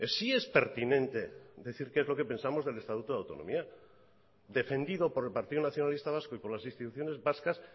sí es pertinente decir qué es lo que pensamos del estatuto de autonomía defendido por el partido nacionalista vasco y por las instituciones vascas